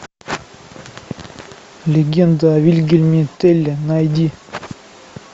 легенда о вильгельме телле найди